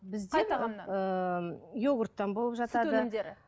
ыыы йогурттан болып жатады сүт өнімдері